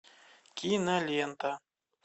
кинолента